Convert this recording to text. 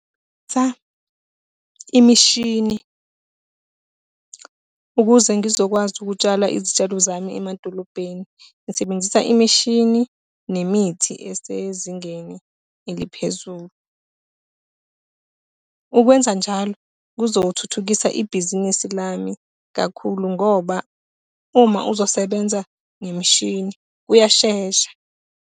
imishini, ukuze ngizokwazi ukutshala izitshalo zami emadolobheni ngisebenzisa imishini nemithi esezingeni eliphezulu. Ukwenza njalo kuzothuthukisa ibhizinisi lami kakhulu ngoba uma uzosebenza ngemishini uyashesha.